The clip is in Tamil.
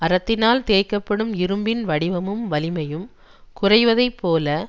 அரத்தினால் தேய்க்க படும் இரும்பின் வடிவமும் வலிமையும் குறைவதைப் போல